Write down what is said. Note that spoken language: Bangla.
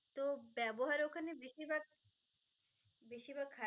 তো ব্যবহার ওখানে বেশি ভাগ বেশি ভাগ খার~ তো